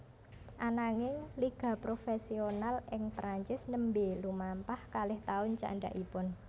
Ananging liga profesional ing Prancis nembé lumampah kalih taun candhakipun